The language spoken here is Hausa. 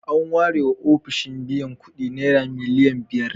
An warewa ofishin biyan kuɗi naira miliyan biyar.